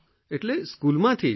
એટલે સ્કૂલમાંથી જ